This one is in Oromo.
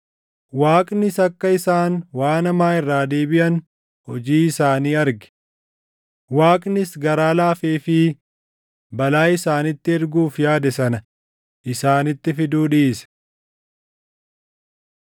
Waaqnis akka isaan waan hamaa irraa deebiʼan hojii isaanii arge; Waaqnis garaa laafeefii balaa isaanitti erguuf yaade sana isaanitti fiduu dhiise.